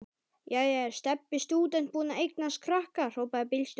Jæja er Stebbi stúdent búinn að eignast krakka? hrópaði bílstjórinn.